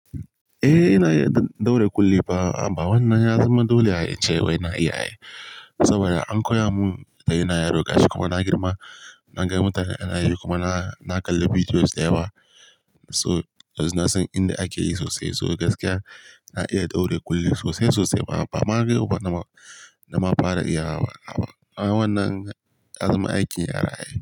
Eh ina iya ɗaure kulli ba, amma wannan yanzu ma dole ya ce wai na iya yi saboda an koya mun da ina yarda gashi kuma na girma na ga mutane na yi kuma na kalla bidiyos dayawa. So na san inda ake yi sosai, so gaskiya na iya ɗaure kulli sosai sosai ba ma kai kuma na ma fara iya wa. Amma wannan ya zama aikin yara ne.